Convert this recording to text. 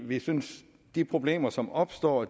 vi synes at de problemer som opstår